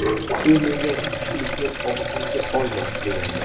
U menga ‘ichkilikni og‘zingga olma’ degandi.